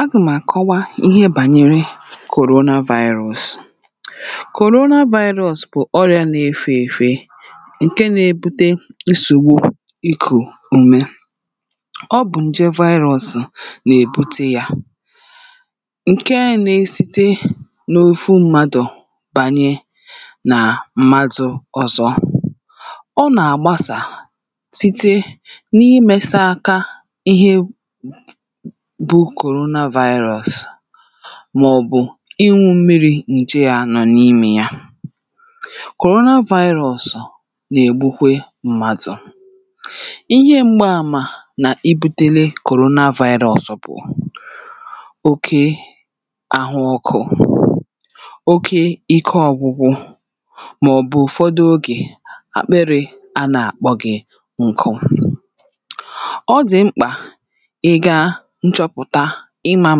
Agà m̀ àkọwa ihe bànyere Corona virus. Corona virus bụ̀ ọrịa nà-efe èfe ǹke nà-ebute nsogbu ikù ume. Ọ bụ̀ nje virus nà-èbute ya, ǹke nȧ-esite n’ofu mmadụ̀ bànyere nà mmadụ̀ ọzọ. Ọ nà àgbasà site n’imesà aka ihe bu korona vaịrọ̇s màọ̀bụ̀ ịǹụ̇ mmiri̇ ǹje yȧ nọ̀ n’imė yȧ. korona vaịrọ̇s nà-ègbukwe m̀màdụ̀. Ihe m̀gba àmà nà ibu̇tėlė korona vaịrọ̇s bụ̀, oke àhụ ọkụ̇, oke ìke ọ̇gwụ̇gwụ̇ màọ̀bụ̀ ụ̀fọdụ ogè àkpịrị̇ a nà-àkpọ gị̇ ǹkụ. Ọ dị̀ mkpà i ga nchọpụ̀ta ịmȧ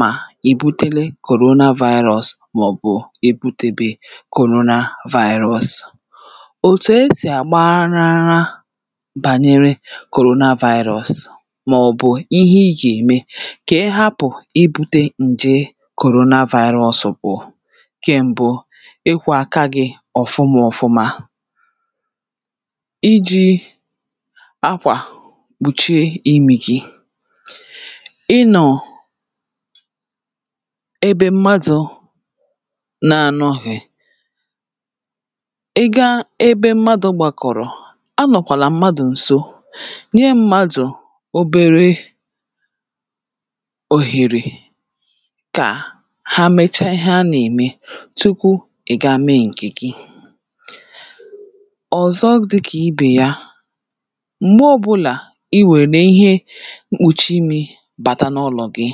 mà i bute le korona vaịrọs màọ̀bụ̀ ebutebe korona vaịrọs. Òtù esì àgbarara bànyere korona vaịrọs màọ̀bụ̀ ihe i gà-ème kà ị hapụ̀ i bute ǹje korona vaịrọs bụ̀, nke m̀bụ ị kwọ̀ aka gị̇ ọ̀fụmọ̀fụma, iji̇ akwà kpùchie imì gì, ị nọ ebe mmadụ̀ na-anọ̇ghị̀, ị gaa ebe mmadụ̀ gbàkọ̀rọ̀ anọ̀kwàlà mmadụ̀ ǹso, nye mmadụ̀ obere òhèrè ka ha mechaa ihe a nà-ème tukwu ị̀ ga mee ǹke gì. Ọ̀zọ dịkà ibè ya, m̀gbe ọbụlà iwèrè ihe mkpuchi imi bata n'ụlọ gi,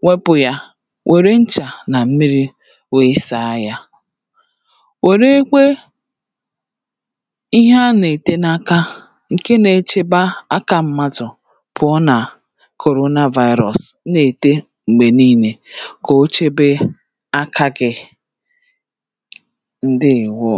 nwẹpụ̀ yà wère nchà nà mmiri̇ wee sàa yȧ. wère kwe ihe a nà-ète n’aka ǹkè nà-echeba aka mmadụ̀ pụ̀ọ nà korona vaịrọs na-ète m̀gbè niilė kà o chebe aka gị̇. Ǹdeèwo.